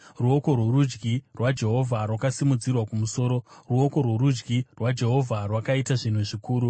Ruoko rworudyi rwaJehovha rwakasimudzirwa kumusoro; ruoko rworudyi rwaJehovha rwakaita zvinhu zvikuru!”